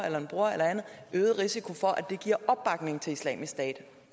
eller andre en øget risiko for at det giver opbakning til islamisk stat